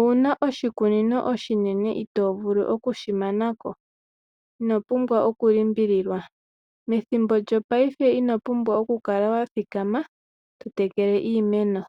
Ouna oshikunino oshinene itovulu okushimanaka inopumbwa oku limbililwa. Methimbo lyopaife inopumbwa okukala wathikama totekele iimeno